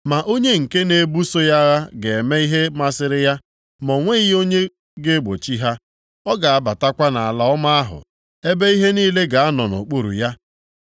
Ma onye nke na-ebuso ya agha ga-eme ihe masịrị ya, ma o nweghị onye ga-egbochi ha. Ọ ga-abatakwa nʼAla Ọma ahụ, ebe ihe niile ga-anọ nʼokpuru ya.